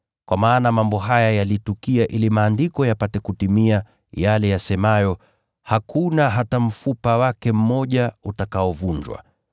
Kwa maana mambo haya yalitukia ili Maandiko yapate kutimia, yale yasemayo, “Hakuna hata mfupa wake mmoja utakaovunjwa.”